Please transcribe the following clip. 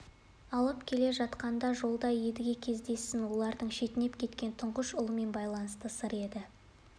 алып келе жатқанда жолда едіге кездессін олардың шетінеп кеткен тұңғыш ұлымен байланысты сыр еді